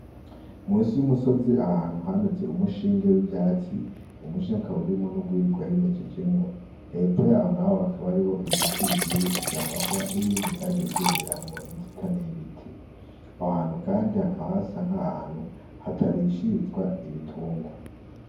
Munsi y'umusozi ahantu hameze umushinge w'ivyatsi, uwo mushi ukaba urimwo urwiri rwarimejejemwo, hepfo yaho naho hakaba hari ibiti bigiye bifise amahwa n'ibindi vyagiye vyumiramwo inzitane y'ibiti, aho hantu kandi hakaba hasa nk'ahantu hatarishirizwa ibitungwa.